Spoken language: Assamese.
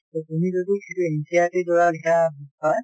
তʼ তুমি যদি সেইটো NCERT ৰ পৰা লিখা হয়